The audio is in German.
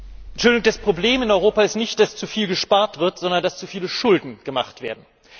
Entschuldigung, das Problem in Europa ist nicht, dass zu viel gespart wird, sondern dass zu viele Schulden gemacht werden.